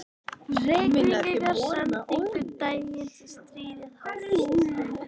Reykvíkingar sendingu daginn sem stríðið hófst.